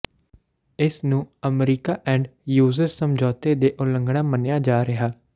ਇਸ ਨੂੰ America end user ਸਮਝੌਤੇ ਦੀ ਉਲੰਘਣਾ ਮੰਨਿਆ ਜਾ ਰਿਹਾ